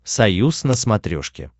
союз на смотрешке